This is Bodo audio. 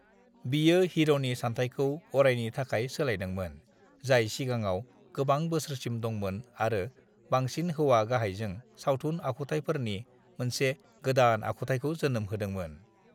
बियो हिर'नि सानथायखौ अरायनि थाखाय सोलायदोंमोन जाय सिगांआव गोबां बोसोरसिम दंमोन आरो बांसिन हौवा गाहायजों सावथुन आखुथायफोरनि मोनसे गादान आखुथायखौ जोनोम होदोंमोन।